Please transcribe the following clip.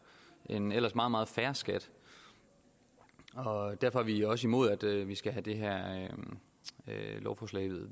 en ellers meget meget fair skat og derfor er vi også imod at vi skal have det her lovforslag